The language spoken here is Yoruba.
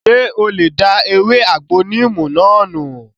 Ṣé o lè da ewé àgbo níìmù náà nù?